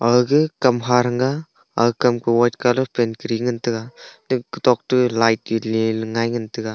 agey kam kha thaga aga kam ka white colour paint kari ngan tega eto kotok te light ge lele ngai ngan tega.